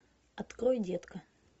открой детка